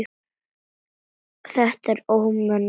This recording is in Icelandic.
Þetta var ómenni og slóði.